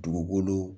Dugukolo